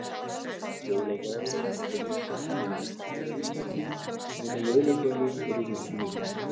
Jóladagurinn er líkur því sem er á Íslandi nema jólagjafir eru miklu minni.